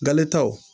Galetaw